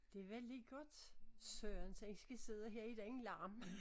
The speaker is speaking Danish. Det var lige godt Sørens at vi skal sidde her i den larm